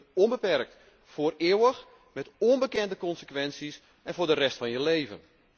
En dat gebeurt onbeperkt, voor eeuwig, met onbekende consequenties en voor de rest van je leven.